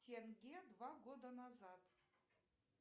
тенге два года назад